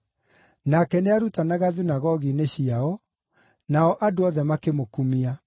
Nake nĩarutanaga thunagogi-inĩ ciao, nao andũ othe makĩmũkumia.